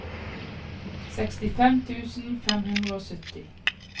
sekstifem tusen fem hundre og sytti